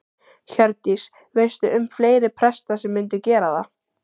Hjördís: Veistu um fleiri presta sem myndu gera það?